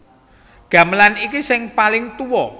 Gamelan iki sing paling tuwa